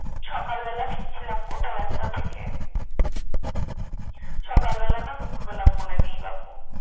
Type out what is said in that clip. সকাল বেলা ফিরছিলাম কোথাও একটা থেকে সকাল বেলা না দুপুর বেলা মনে নেই বাপু।